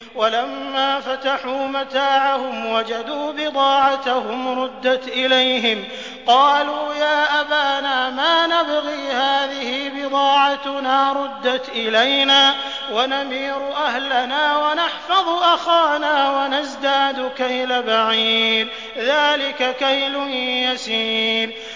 وَلَمَّا فَتَحُوا مَتَاعَهُمْ وَجَدُوا بِضَاعَتَهُمْ رُدَّتْ إِلَيْهِمْ ۖ قَالُوا يَا أَبَانَا مَا نَبْغِي ۖ هَٰذِهِ بِضَاعَتُنَا رُدَّتْ إِلَيْنَا ۖ وَنَمِيرُ أَهْلَنَا وَنَحْفَظُ أَخَانَا وَنَزْدَادُ كَيْلَ بَعِيرٍ ۖ ذَٰلِكَ كَيْلٌ يَسِيرٌ